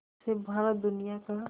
से भारत दुनिया का